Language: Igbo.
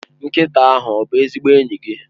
Nkịta ahụ ọ bụ ezigbo enyi gị?